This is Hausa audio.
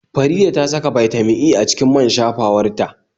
Faridah ta saka Bitamin E a cikin man shafawar ta